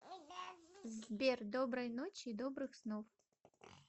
сбер доброй ночи и добрых снов